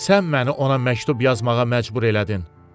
Sən məni ona məktub yazmağa məcbur elədin.